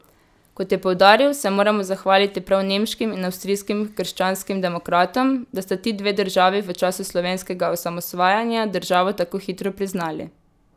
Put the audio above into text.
Kot je poudaril, se moramo zahvaliti prav nemškim in avstrijskim krščanskim demokratom, da sta ti dve državi v času slovenskega osamosvajanja državo tako hitro priznali.